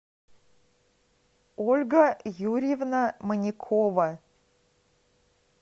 ольга юрьевна манякова